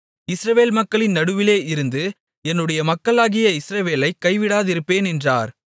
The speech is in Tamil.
இஸ்ரவேல் மக்களின் நடுவிலே இருந்து என்னுடைய மக்களாகிய இஸ்ரவேலைக் கைவிடாதிருப்பேன் என்றார்